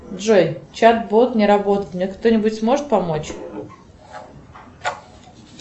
джой чат бот не работает мне кто нибудь сможет помочь